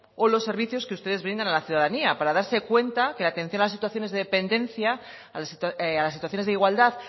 o los servicios que ustedes brindan a la ciudadanía para darse cuenta que la atención de las situaciones de dependencia a las situaciones de igualdad